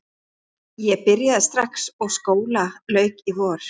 Ég byrjaði strax og skóla lauk í vor.